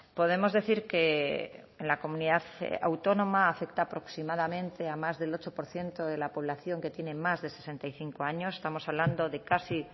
podemos decir que en la comunidad autónoma afecta aproximadamente a más del ocho por ciento de la población que tiene más de sesenta y cinco años estamos hablando de casi